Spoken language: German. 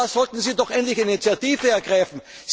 Da sollten Sie doch endlich Initiative ergreifen!